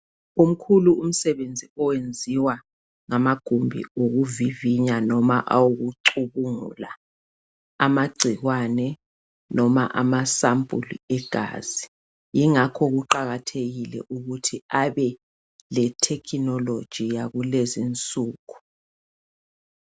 Umkhulu umsebenzi oyenziwa ngamagumbi okuvivinya lalawo awokucubungula amagcikwane noma amasampuli egazi ingakho kuqakathekile ukuthi abe le technology yakulezi insuku.